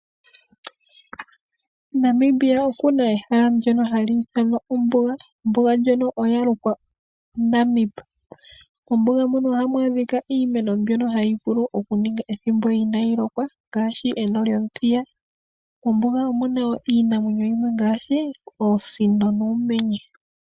Namibia okuna ehala ehala lyono hali ithanwa ombuga, ombuga ndjono ya lukwa Namib, mombuga muno oha mu adhika iimeno mbyono hayi vulu okuninga ethimbo ina yi lokwa ngaashi eno lyomuthiya mombuga omuna wo iinamwenyo yimwe ngaashi oosino noomenye.